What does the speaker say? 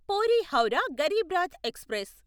puri Howrah Garib Rath express